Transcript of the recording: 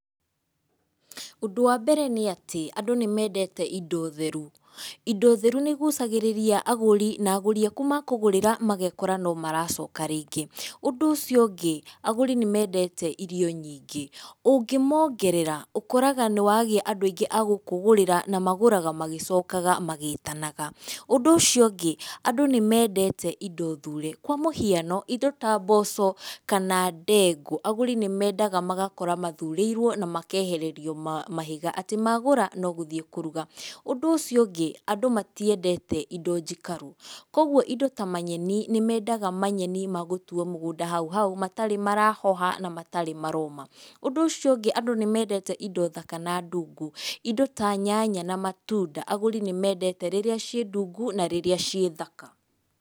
Ũndũ wa mbere nĩatĩ, andũ nĩmendete indo theru. Indo theru nĩigucagĩrĩria agũri, na agũri aku makũgũrĩra magekora nĩmaracoka rĩngĩ. Ũndũ ũcio ũngĩ agũri nĩmendete irio nyingĩ, ũngĩongerera ũkoraga nĩwagĩa andũ aingĩ a gũkũgũrĩra na magũraga magĩcokaga magĩtanaga. Ũndũ ũcio ũngĩ andũ nĩmendete indo thure, kwa mũhiano, indo ta mboco kana ndengũ, agũri nĩmendaga magakora mathurĩirwo na makehererio ma, mahiga, atĩ magũra no gũthiĩ kũruga. Ũndũ ũcio ũngĩ, andũ matiendete indo njikaru, kwogwo indo ta manyeni, nĩmendaga manyeni ma gũtuo mũgũnda hau hau matarĩ marahoha na matarĩ maroma. Ũndũ ũcio ũngĩ, andũ nĩ mendete indo thaka na ndũngũ, indo ta nyanya na matunda agũri nĩmendete rĩrĩa ciĩ ndũngũ na rĩrĩa ciĩ thaka.